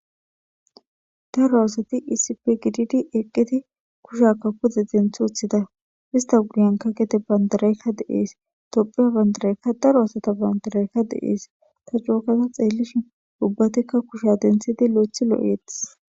daro aosati isipgididi eqqidi kushakka kuze denth uthida ista guyenka gete bandaraykka deees dopheya bandaraykka daro aosata bandaraykka de7ees ta jookaza xeellishin ubbatekka kusha dentshidi lo7ethi loo7eetis